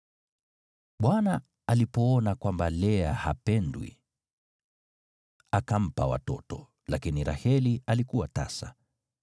Bwana alipoona kwamba Lea hapendwi, akampa watoto, lakini Raheli alikuwa tasa.